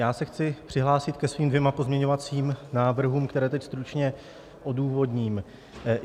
Já se chci přihlásit ke svým dvěma pozměňovacím návrhům, které teď stručně odůvodním.